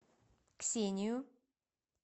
ксению